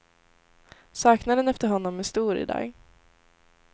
Saknaden efter honom är stor i dag.